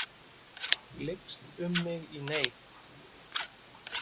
Lykst um mig í neyð.